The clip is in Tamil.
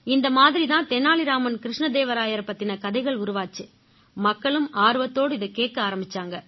இந்த மாதிரி தான் தெனாலி ராமன் கிருஷ்ணதேவராயர் பத்தின கதைகள் உருவாச்சு மக்களும் ஆர்வத்தோட இதைக் கேட்க ஆரம்பிச்சாங்க